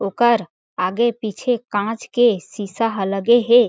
ओकर आगे पीछे कांच के शीशा ह लगे हे।